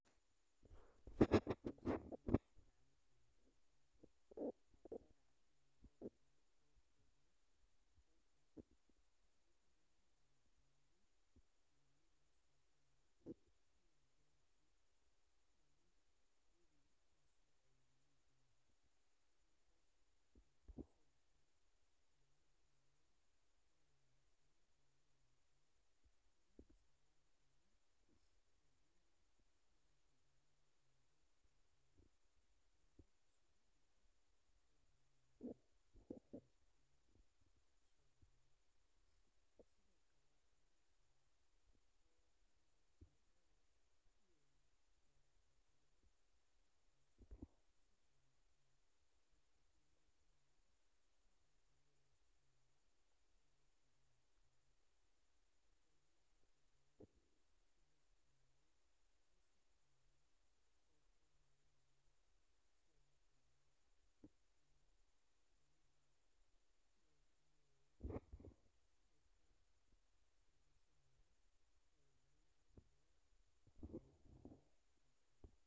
Degankayga waxa uu leeyahay dhibaatooyin badan oo ka dhashay fatahaadaha roobabka, balse waxa iga walwalsiinaya mid aad uga daran oo ah nabaad guurka iyo abaaraha isa soo taraya. In kasta oo fatahaaduhu ay sababi karaan barakac, burbur hantiyeed, iyo cudurro, haddana nabaad guurka joogtada ah iyo abaaraha waaweyn ayaa sababay in dadku waayaan wax ay ku noolaadaan, xoolihii baab’aan, dhulkii beeraleyda qalalo, isla markaana ay yaraato helitaanka biyo nadiif ah. Waxaa laga yaabaa in fatahaaduhu yimaadaan xilli roobaadka, balse abaaraha iyo nabaad guurku waxay yihiin masiibooyin muddo dheer saameeya deegaanka.